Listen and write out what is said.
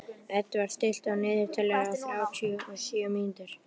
Edvard, stilltu niðurteljara á þrjátíu og sjö mínútur.